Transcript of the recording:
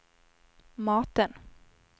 maten